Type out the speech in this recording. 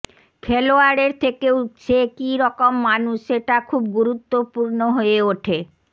খেলোয়াড়ের থেকেও সে কি রকম মানুষ সেটা খুব গুরুত্বপূর্ণ হয়ে ওঠে